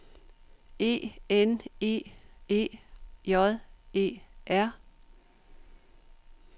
E N E E J E R